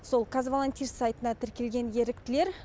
сол казвалантист сайтына тіркелген еріктілер